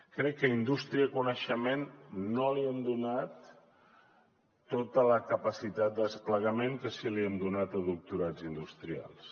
crec que a indústria i coneixement no li hem donat tota la capacitat de desplegament que sí que li hem donat a doctorats industrials